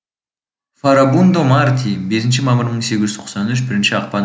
фарабундо марти бесінші мамыр мың сегіз жүз тоқсан үш бірінші ақпан